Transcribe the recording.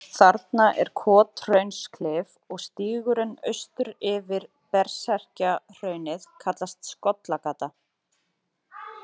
Þarna er Kothraunsklif og stígurinn austur yfir Berserkjahraunið kallast Skollagata.